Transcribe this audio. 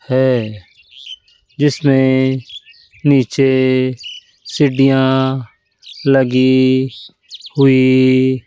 है जिसमें नीचे सीढ़ियां लगी हुई --